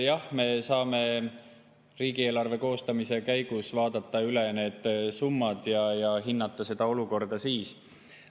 Jah, me saame riigieelarve koostamise käigus vaadata need summad üle ja seda olukorda hinnata.